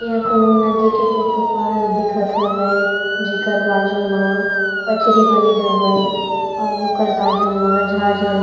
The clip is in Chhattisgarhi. एहा कोनो नदी के फोटो पास दिखत हवय जेकर बाजू म पचरी बने हवय अऊ ओकर बाजू म झार झ--